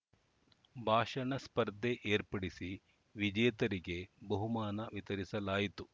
ಭಾಷಣ ಸ್ಪರ್ಧೆ ಏರ್ಪಡಿಸಿ ವಿಜೇತರಿಗೆ ಬಹುಮಾನ ವಿತರಿಸಲಾಯಿತು